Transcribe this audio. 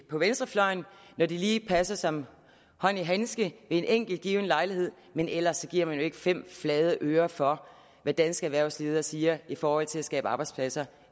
på venstrefløjen når det lige passer som hånd i handske ved en enkelt given lejlighed men ellers giver man jo ikke fem flade øre for hvad danske erhvervsledere siger i forhold til at skabe arbejdspladser